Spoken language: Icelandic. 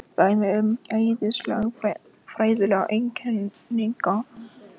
Dæmi um eðlisfræðilega eiginleika.